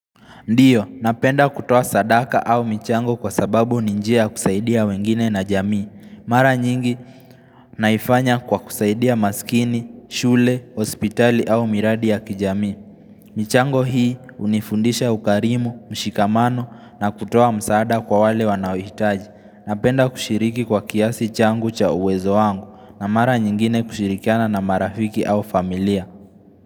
Ndio, napenda kutoa sadaka au michango kwa sababu ni yanjia kusaidia wengine na jamii. Mara nyingi naifanya kwa kusaidia maskini, shule, hospitali au miradi ya kijamii. Michango hii hunifundisha ukarimu, mshikamano na kutoa msaada kwa wale wanaohitaji. Napenda kushiriki kwa kiasi changu cha uwezo wangu, na mara nyingine kushirikiana na marafiki au familia.